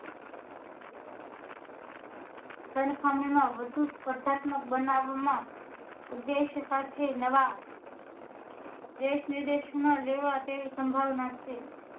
જન માં વધુ સ્પ્રધાત્મ્ક બનવવા ના ઉદેશ્ય સાથે નવા દેશ વિદેશ માં લેવા તેવી સંભાવના છે